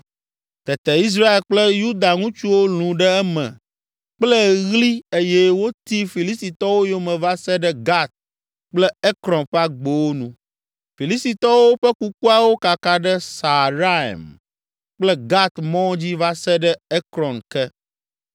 Tete Israel kple Yuda ŋutsuwo lũ ɖe eme kple ɣli eye woti Filistitɔwo yome va se ɖe Gat kple Ekron ƒe agbowo nu. Filistitɔwo ƒe kukuawo kaka ɖe Saaraim kple Gat mɔ dzi va se ɖe Ekron ke.